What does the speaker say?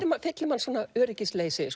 fyllir mann öryggisleysi